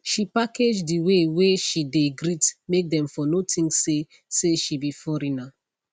she package the way whey she dey greet make them for no think say say she be foreigner